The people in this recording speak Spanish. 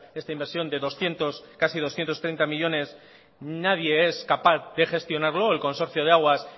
esta inversión de casi doscientos treinta millónes nadie es capaz de gestionarlo el consorcio de aguas